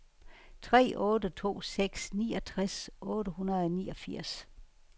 tre otte to seks niogtres otte hundrede og niogfirs